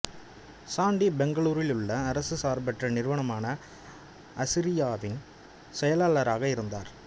சாண்டி பெங்களூரிலுள்ள அரசு சார்பற்ற நிறுவனமான ஆசிரயாவின் செயலாளராக இருந்தார்